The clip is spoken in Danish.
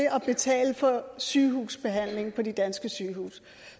at betale for sygehusbehandling på de danske sygehuse